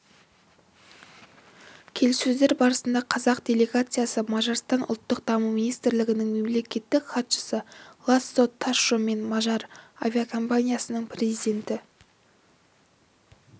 келіссөздер барысында қазақ делегациясы мажарстан ұлттық даму министрлігінің мемлекеттік хатшысы ласло ташо мен мажар авиакомпаниясының президенті